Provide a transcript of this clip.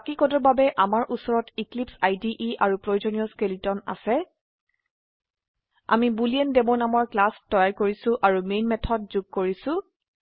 বাকি কোডৰ বাবে আমাৰ উচৰত এক্লিপছে ইদে আৰু প্ৰয়োজনীয় স্কেলেটন আছে আমি বুলেণ্ডেমো নামৰ ক্লাস তৈয়াৰ কৰিছো আৰু মেন মেথড যুগ কৰিছো